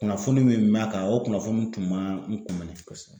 Kunnafoni min b'a kan o kunnafoni kun ma n kun minɛ; kosɛbɛ.